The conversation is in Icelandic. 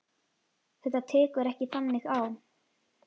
Þetta tekur ekki þannig á.